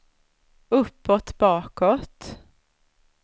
uppåt bakåt